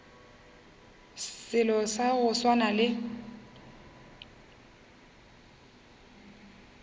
selo sa go swana le